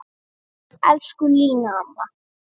Elsku Lína amma.